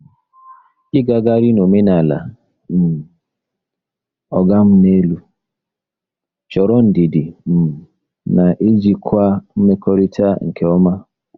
Ịgagharị n'omenala um “oga m n'elu” chọrọ ndidi um na ijikwa mmekọrịta nke ọma.